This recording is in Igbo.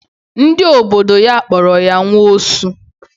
Ndị obodo ya kpọrọ ya nwa osu.